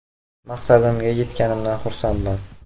Maqsadimga yetganimdan xursandman.